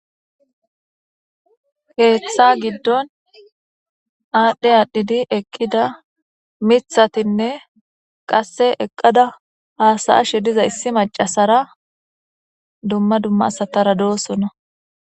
Keeththa gidon adhi adhidi eqida mithatine qase eqada hasayishe diza issi macasara dumma dumma asatara deosona.